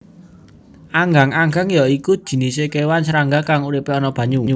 Anggang anggang ya iku jinisé kéwan srangga kang uripé ana banyu